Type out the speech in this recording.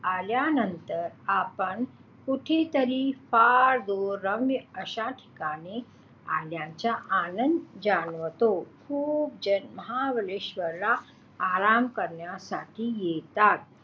आल्यानंतर आपण कुठेतरी फार दूर रम्य अश्या ठिकाणी आल्याचा आनंद जाणवतो. खूप जण महाबळेश्वरला आराम करण्यासाठी येतात.